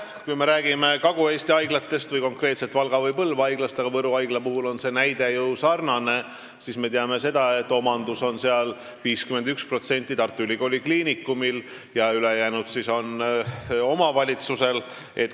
Kui me räägime Kagu-Eesti haiglatest, konkreetselt Valga või Põlva haiglast , siis me teame, et 51% on Tartu Ülikooli Kliinikumi ja ülejäänu omavalitsuse omanduses.